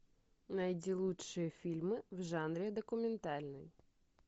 найди лучшие фильмы в жанре документальный